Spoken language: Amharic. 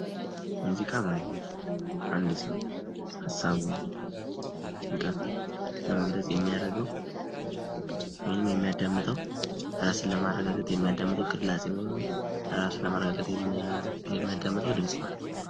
ሙዚቃ ማለት አንድ ሰው ሐሳቡን ፣ጭንቀቱን ለመግለጽ የሚያደርገው ወይንም የሚያዳምጠው እራስንን ለማረጋጋት የሚያዳምጠው ቅላፄ ወይንም ራስን ለማረጋጋት የሚያዳምጠው ድምጽ ማለት ነው።